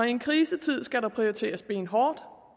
i en krisetid skal der prioriteres benhårdt